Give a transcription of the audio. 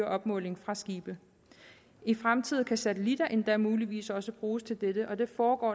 opmåling fra skibe i fremtiden kan satellitter endda muligvis også bruges til dette og der foregår